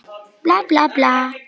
Ég sagðist búast við því.